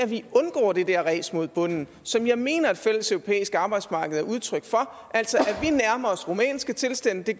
vi undgår det der ræs mod bunden som jeg mener at et fælleseuropæisk arbejdsmarked er udtryk for altså at vi nærmer os rumænske tilstande det